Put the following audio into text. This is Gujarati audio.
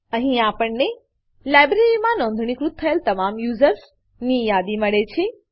અહીં આપણને લાઇબ્રેરીમાં નોંધણીકૃત થયેલ તમામ યુઝર્સ વપરાશકર્તાઓ ની યાદી મળે છે